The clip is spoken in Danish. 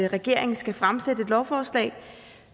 regeringen skal fremsætte et lovforslag